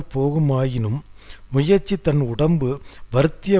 போகுமாயினும் முயற்சி தன் உடம்பு வருந்திய